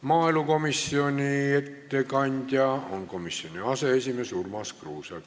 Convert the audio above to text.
Maaelukomisjoni ettekandja on komisjoni aseesimees Urmas Kruuse.